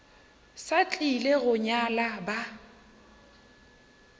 sa tlile go nyala ba